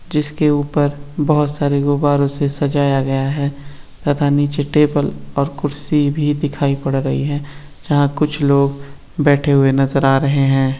जिसके ऊपर बहुत सारे गुब्बारों से सजाया गया है तथा नीचे टेबल और कुर्सी भी दिखाई पड़ रही है जहां कुछ लोग बैठे हुए नजर आ रहे हैं।